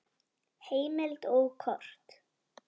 Heimild og kort